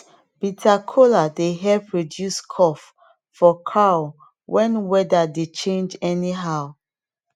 bitter kola dey help reduce cough for cow when weather dey change anyhow